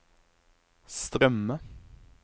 strømme